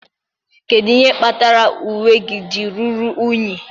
Kedu ihe kpatara uwe gị ji ruru unyi?